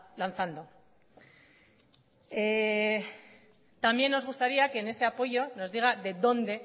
lanzando también nos gustaría que en ese apoyo nos diga de dónde